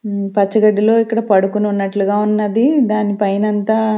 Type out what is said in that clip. మ్మ్ పచ్చగడ్డిలో ఇక్కడ పడుకొని ఉన్నట్లుగా ఉన్నది దాని పైనంతా.